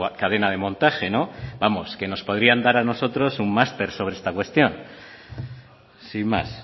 cadena de montaje vamos que nos podrían dar a nosotros un máster sobre esta cuestión sin más